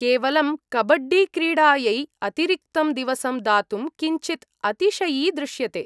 केवलं कबड्डीक्रीडायै अतिरिक्तं दिवसं दातुं किञ्चित् अतिशयि दृश्यते।